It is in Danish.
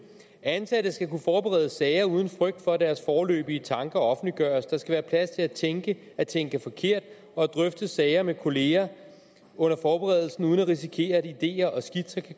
ansatte skal kunne forberede sager uden frygt for at deres foreløbige tanker offentliggøres der skal være plads til at tænke at tænke forkert og drøfte sager med kollegaer under forberedelsen uden at risikere at ideer og skitser